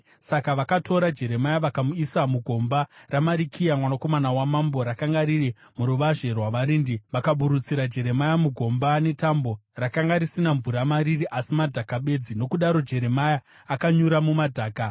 Saka vakatora Jeremia vakamuisa mugomba raMarikiya, mwanakomana wamambo, rakanga riri muruvazhe rwavarindi. Vakaburutsira Jeremia mugomba netambo: rakanga risina mvura mariri, asi madhaka bedzi, nokudaro Jeremia akanyura mumadhaka.